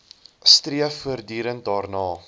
streef voortdurend daarna